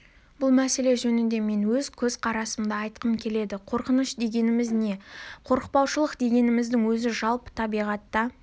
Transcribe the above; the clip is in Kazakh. бұл мәселе жөнінде мен өз көзқарасымды айтқым келеді қорқыныш дегеніміз не қорықпаушылық дегеніміздің өзі жалпы табиғатта